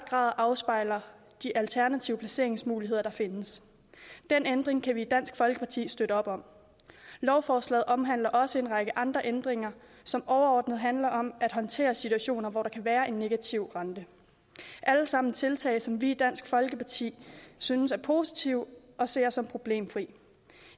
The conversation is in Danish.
grad afspejler de alternative placeringsmuligheder der findes den ændring kan vi i dansk folkeparti støtte op om lovforslaget omhandler også en række andre ændringer som overordnet set handler om at håndtere situationer hvor der kan være en negativ rente alle sammen tiltag som vi i dansk folkeparti synes er positive og ser som problemfri